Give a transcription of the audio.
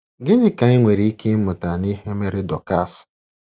Gịnị ka anyị nwere ike ịmụta n’ihe mere Dọkas?